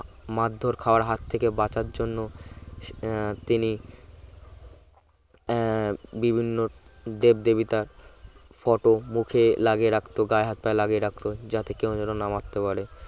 মারধর খাওয়ার হাত থেকে বাঁচার জন্য আহ তিনি আহ বিভিন্ন দেবদেবিতার photo মুখে লাগিয়ে রাখতো গায়ে হাত পায়ে লাগিয়ে রাখত যাতে কেউ জানো না মারতে পারে